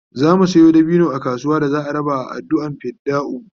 zamu Sayo dabino a kasuwa da za'a raba a adduan fidda'u